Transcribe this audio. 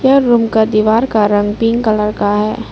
यह रूम का दीवार का रंग पिंक कलर का है।